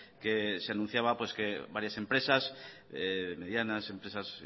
que se anunciaba que varias empresas medianas empresas